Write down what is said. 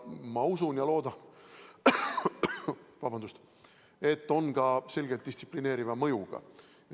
Ma usun ja loodan, et need on ka selgelt distsiplineeriva mõjuga.